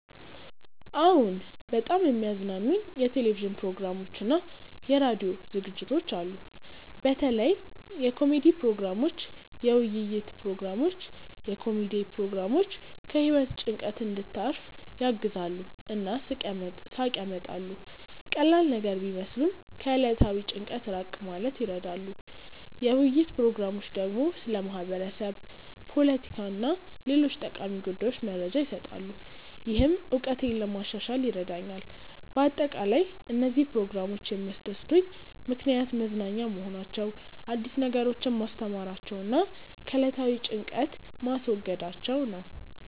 አዎን፣ በጣም የሚያዝናኑኝ የቴሌቪዥን ፕሮግራሞችና የራዲዮ ዝግጅቶች አሉ። በተለይ የኮሜዲ ፕሮግራሞች፣ የውይይት ፕሮግራሞች። የኮሜዲ ፕሮግራሞች ከህይወት ጭንቀት እንድታርፍ ያግዛሉ እና ሳቅ ያመጣሉ። ቀላል ነገር ቢመስሉም ከዕለታዊ ጭንቀት ራቅ ማለት ይረዳሉ። የውይይት ፕሮግራሞች ደግሞ ስለ ማህበረሰብ፣ ፖለቲካ እና ሌሎች ጠቃሚ ጉዳዮች መረጃ ይሰጣሉ፣ ይህም እውቀቴን ለማሻሻል ይረዳኛል በአጠቃላይ፣ እነዚህ ፕሮግራሞች የሚያስደስቱኝ ምክንያት መዝናኛ መሆናቸው፣ አዲስ ነገሮችን ማስተማራቸው እና ከዕለታዊ ጭንቀት ማስወገዳቸው ነው